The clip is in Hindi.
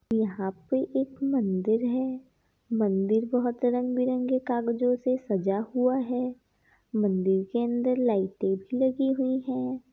यहाँ पे एक मंदिर है। मंदिर बोहत रंग-बिरंगे कागजो से सजा हुआ है। मंदिर के अंदर लाइटे भी लगी हुई है।